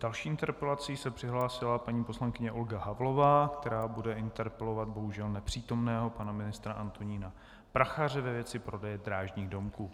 Další interpelací se přihlásila paní poslankyně Olga Havlová, která bude interpelovat bohužel nepřítomného pana ministra Antonína Prachaře ve věci prodeje drážních domků.